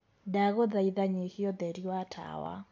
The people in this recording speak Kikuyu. ndagũthaitha nyĩhĩa utherĩ wa tawa